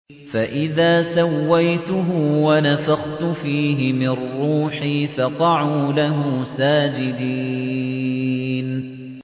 فَإِذَا سَوَّيْتُهُ وَنَفَخْتُ فِيهِ مِن رُّوحِي فَقَعُوا لَهُ سَاجِدِينَ